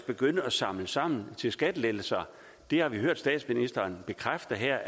begynde at samle sammen til skattelettelser det har vi hørt statsministeren bekræfte her